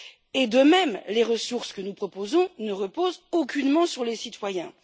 Et, de même, les ressources que nous proposons ne reposent aucunement sur les citoyens.